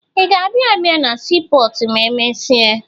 Ị ga-abịa abịa na siipọọtụ ma emesịa?